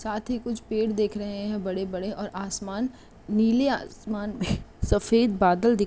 साथी कुछ पेड़ देख रहे हैं बड़े-बड़े और आसमान नीले आसमान में सफेद बादल दि --